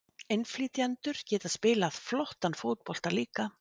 Innflytjendur geta spilað flottan fótbolta líka.